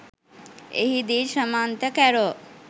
එහිදී ශ්‍රමන්ත කැරෝ